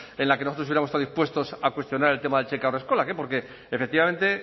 en la que nosotros hubiéramos estado dispuestos a cuestionar el tema de haurreskolak porque efectivamente